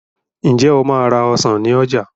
Ǹjẹ́ o máa ra ọsàn ní ọjà